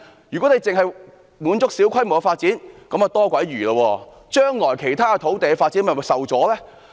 如果政府只滿足於小規模發展，那真是多餘，因將來其他土地發展將會受阻。